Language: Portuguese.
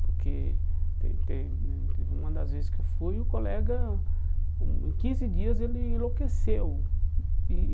Porque teve uma das vezes que eu fui, o colega hum, em quinze dias, ele enlouqueceu e.